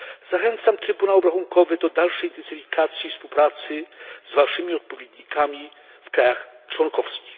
Zachęcam Trybunał Obrachunkowy do dalszej intensyfikacji współpracy z waszymi odpowiednikami w krajach członkowskich.